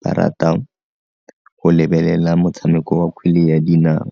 ba rata go lebelela motshameko wa kgwele ya dinao.